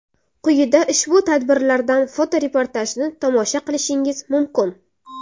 Quyida ushbu tadbirlardan foto-reportajni tomosha qilishingiz mumkin.